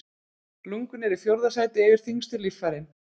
Lungun eru í fjórða sæti yfir þyngstu líffærin.